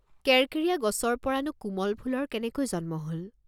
কেৰকেৰীয়া গছৰ পৰা নো কোমল ফুলৰ কেনেকৈ জন্ম হল?